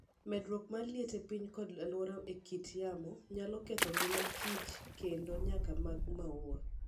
Medruok mar liet e piny koda lokruok e kit yamo, nyalo ketho ngima kich koda nyak mag maua